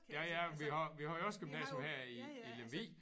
Ja ja vi har vi har jo også gymnasium her i i Lemvig